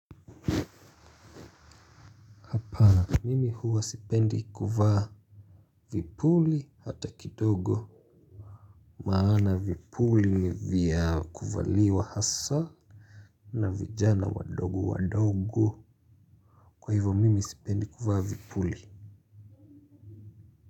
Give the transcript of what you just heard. Mimi huwa sipendi kuvaa vipuli hata kidogo. Maana vipuli nivya kuvaliwa hasa na vijana wadogo wadogo. Kwa hivyo mimi sipendi kuvaa vipuli.